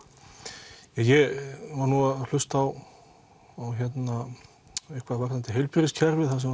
ég var nú að hlusta á eitthvað varðandi heilbrigðiskerfið þar sem